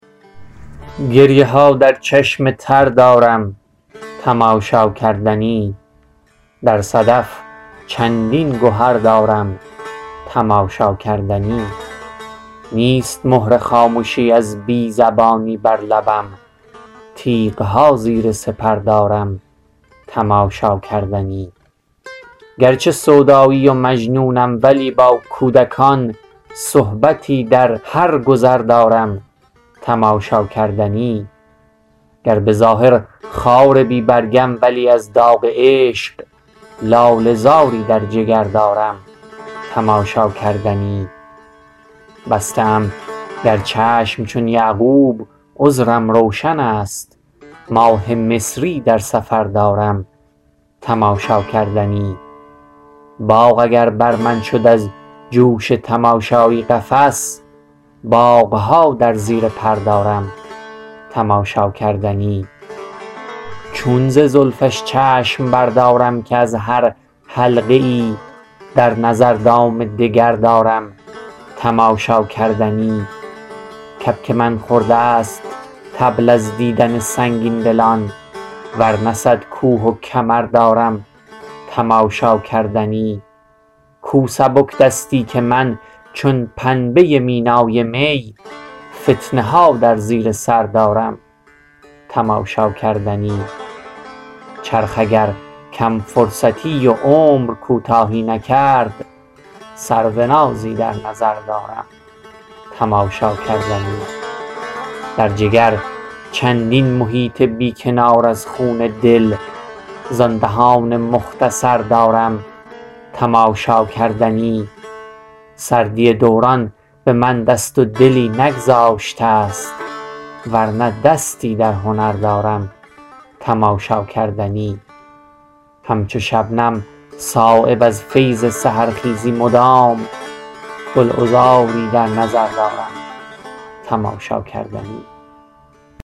گریه ها در چشم تر دارم تماشاکردنی در صدف چندین گهر دارم تماشاکردنی نیست مهر خامشی از بی زبانی بر لبم تیغ ها زیر سپر دارم تماشاکردنی گرچه سودایی و مجنونم ولی با کودکان صحبتی در هر گذر دارم تماشاکردنی گر به ظاهر خار بی برگم ولی از داغ عشق لاله زاری در جگر دارم تماشاکردنی بسته ام گر چشم چون یعقوب عذرم روشن است ماه مصری در سفر دارم تماشاکردنی باغ اگر بر من شد از جوش تماشایی قفس باغها در زیر پر دارم تماشاکردنی چون ز زلفش چشم بردارم که از هر حلقه ای در نظر دام دگر دارم تماشاکردنی کبک من خورده است طبل از دیدن سنگین دلان ورنه صد کوه و کمر دارم تماشاکردنی کو سبکدستی که من چون پنبه مینای می فتنه ها در زیر سر دارم تماشاکردنی چرخ اگر کم فرصتی و عمر کوتاهی نکرد سرونازی در نظر دارم تماشاکردنی در جگر چندین محیط بی کنار از خون دل زان دهان مختصر دارم تماشاکردنی سردی دوران به من دست و دلی نگذاشته است ورنه دستی در هنر دارم تماشاکردنی همچو شبنم صایب از فیض سحرخیزی مدام گلعذاری در نظر دارم تماشاکردنی